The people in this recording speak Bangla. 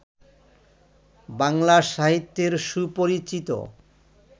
বাংলা সাহিত্যের সুপরিচিত